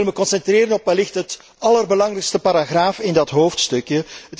Ik wil me concentreren op wellicht de allerbelangrijkste paragraaf in dat hoofdstukje.